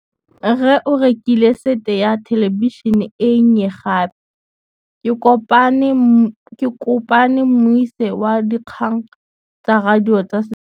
Rre o rekile sete ya thêlêbišênê e nngwe gape. Ke kopane mmuisi w dikgang tsa radio tsa Setswana.